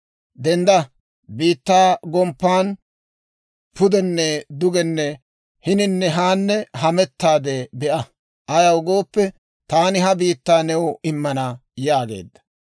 Dendda; biittaa gomppan pudenne dugenne hininne haanne hamettaadde be'a; ayaw gooppe, taani ha biittaa new immana» yaageedda.